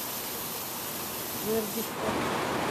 жердевка